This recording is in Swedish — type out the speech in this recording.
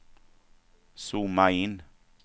zooma in